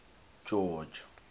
george